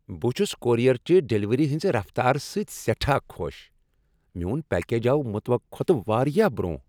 بہٕ چھس کورئیر چہ ڈلیوری ہنزِ رفتار سۭتۍ سیٹھاہ خۄش ۔ میون پیکج آو متوقع کھوتہٕ واریاہ برونٛہہ۔